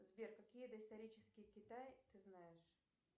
сбер какие доисторические китай ты знаешь